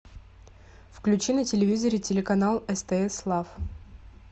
включи на телевизоре телеканал стс лав